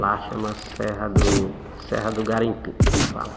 Lá chama Serra do Serra do Garimpim, que eles falam.